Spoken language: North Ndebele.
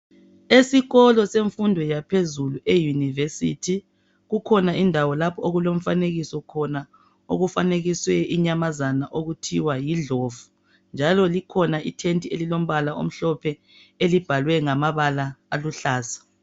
Esikolo semfundo yaphezulu eYunivesi. Kukhona indawo lapho okulomfanekiso khona, okufanekiswe inyamazana okuthiwa yindlovu njalo likhona itende elilombala omhlophe elibhalwe ngamabala aluhlaza.